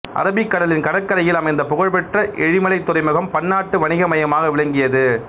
அரபிக்கடலின் கடற்கரையில் அமைந்த புகழ்பெற்ற எழிமலை துறைமுகம் பன்னாட்டு வணிக மையமாக விளங்கியது